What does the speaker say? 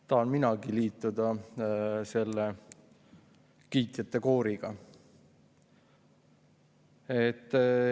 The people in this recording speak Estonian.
Tahan minagi liituda selle kiitjate kooriga.